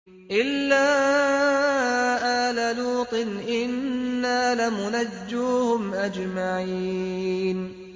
إِلَّا آلَ لُوطٍ إِنَّا لَمُنَجُّوهُمْ أَجْمَعِينَ